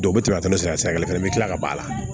u tɛ tɛmɛ sira kelen fɛ i bi kila ka b'a la